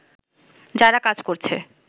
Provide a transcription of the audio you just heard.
যারা কাজ করছে